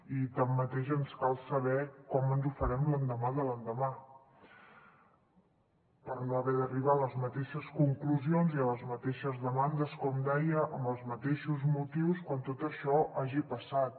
i tanmateix ens cal saber com ens ho farem l’endemà de l’endemà per no haver d’arribar a les mateixes conclusions i a les mateixes demandes com deia amb els mateixos motius quan tot això hagi passat